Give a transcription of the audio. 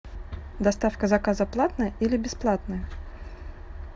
доставка заказа платная или бесплатная